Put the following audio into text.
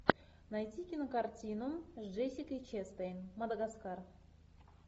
найти кинокартину с джессикой честейн мадагаскар